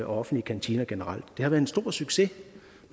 og offentlige kantiner generelt det har været en stor succes